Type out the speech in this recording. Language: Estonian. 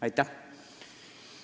Aitäh!